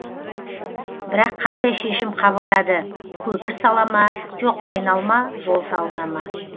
бірақ қандай шешім қабылдады көпір сала ма жоқ айналма жол салына ма